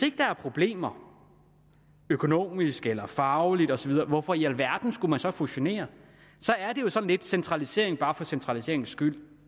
ikke er problemer økonomisk eller fagligt osv hvorfor i alverden skulle man så fusionere så er det jo sådan lidt centralisering bare for centraliseringens skyld